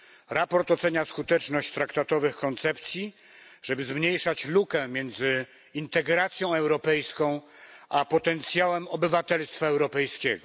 Sprawozdanie ocenia skuteczność traktatowych koncepcji, żeby zmniejszać lukę między integracją europejską a potencjałem obywatelstwa europejskiego.